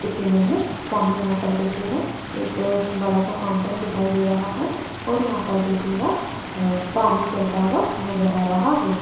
इस इमेज सामने यहां पर देखिएगा एक बड़ा सा फाउंटेन दिखाई दे रहा है और यहां पर देखिएगा पानी चलता हुआ नजर आ रहा है।